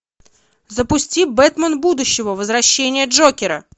запусти бэтмен будущего возвращение джокера